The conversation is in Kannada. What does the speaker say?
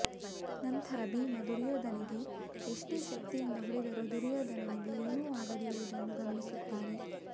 ನಂತರ ಭೀಮ ದುರ್ಯೋಧನನಿಗೆ ಎಷ್ಟೇ ಶಕ್ತಿಯಿಂದ ಹೊಡೆದರೂ ದುರ್ಯೋಧನನಿಗೆ ಏನು ಆಗದಿರುವುದನ್ನು ಗಮನಿಸುತ್ತಾನೆ